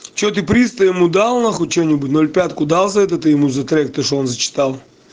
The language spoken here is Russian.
что ты приз то ему дал нахуй что-нибудь ноль пятку дал за это ты ему за трек то что он зачитал